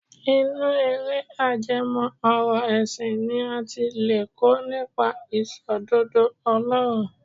Inú eré ajẹmọ́ ọ̀rọ̀ ẹ̀sìn ni a ti lè kọ́ nípa Ìṣòdodo Ọlọ́run